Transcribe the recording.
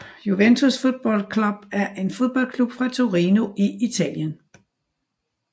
Juventus Football Club er en fodboldklub fra Torino i Italien